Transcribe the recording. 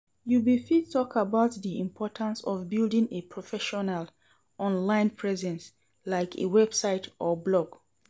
You bfit talk about di importance of building a professional online presence, like a website or blog.